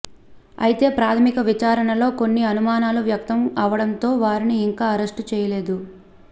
అయితే ప్రాథమిక విచారణలో కొన్ని అనుమానాలు వ్యక్తం అవడంతో వారిని ఇంకా అరెస్టు చేయలేదు